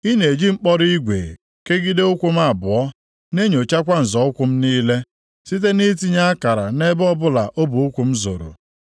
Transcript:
Ị na-eji mkpọrọ igwe kegide ụkwụ m abụọ; na-enyochakwa nzọ ụkwụ m niile site nʼitinye akara nʼebe ọbụla ọbụ ụkwụ m zọrọ.